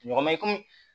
Ɲɔgɔn mɛ kɔmi